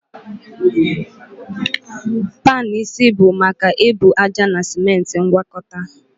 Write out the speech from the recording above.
Panu isi bụ maka ebu ájá na simenti ngwakọta